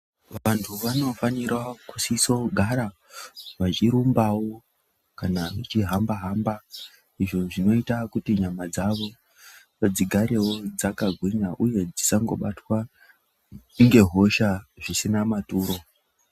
Vantu vano fanira kusisa kugara vachi rumbawo kana vachi hamba hamba izvo zvinoita kuti nyama dzavo dzigarewo dzaka gwinya uye dzisango batwa nge hosha zvisina maturo.